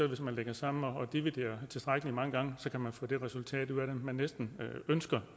at hvis man lægger sammen og dividerer tilstrækkelig mange gange kan man få det resultat ud af det man næsten ønsker